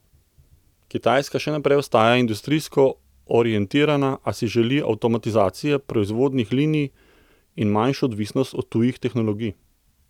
Kitajska še naprej ostaja industrijsko orientirana, a si želi avtomatizacije proizvodnih linij in manjšo odvisnost od tujih tehnologij.